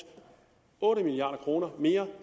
otte milliard kroner mere